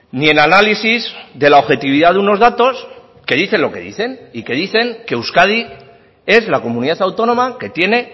ni el análisis de la objetividad de unos datos que dicen lo que dicen y que dicen que euskadi es la comunidad autónoma que tiene